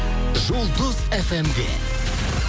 жұлдыз фм де